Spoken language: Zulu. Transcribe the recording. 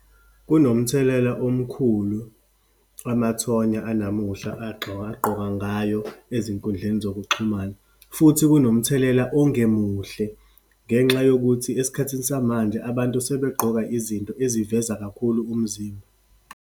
Kunomthelela omkhulu amathonya anamuhla agqoka ngayo ezinkundleni zokuxhumana, futhi kunomthelela ongemuhle ngenxa yokuthi esikhathini samanje abantu sebegqoka izinto eziveza kakhulu umzimba.